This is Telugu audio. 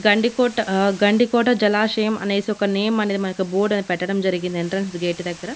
గండికోట ఆ గండికోట జలాశయం అనేసి ఒక నేమ్ అనేది మనకి బోర్డ్ పెట్టడడం జరిగింది ఎంట్రెన్స్ గేట్ దగ్గర.